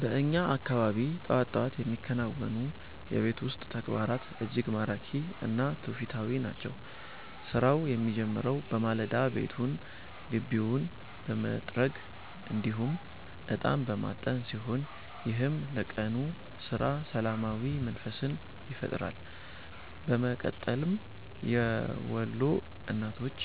በእኛ አካባቢ ጠዋት ጠዋት የሚከናወኑ የቤት ውስጥ ተግባራት እጅግ ማራኪ እና ትውፊታዊ ናቸው። ስራው የሚጀምረው በማለዳ ቤቱንና ግቢውን በመጥረግ እንዲሁም እጣን በማጠን ሲሆን፣ ይህም ለቀኑ ስራ ሰላማዊ መንፈስን ይፈጥራል። በመቀጠልም የወሎ እናቶች